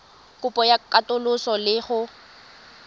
kopo ya katoloso le go